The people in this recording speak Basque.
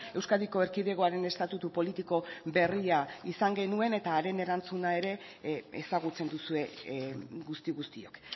euskadiko erkidegoaren estatutu politiko berria izan genuen eta haren erantzuna ere ezagutzen duzue guzti guztiok